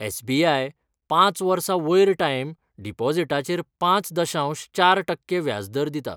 SBI पांच वर्सां वयर टायम डिपॉझिटाचेर पांच दशांश चार टक्के व्याजदर दिता.